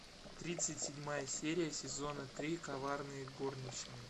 тридцать седьмая серия сезона три коварные горничные